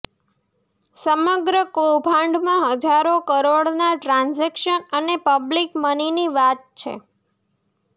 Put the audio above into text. સમગ્ર કૌભાંડમાં હજારો કરોડના ટ્રાન્ઝેકશન અને પબ્લીક મનીની વાત છે